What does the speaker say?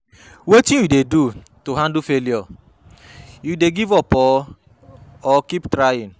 Wetin you dey do to handle failure, you dey give up or or keep trying?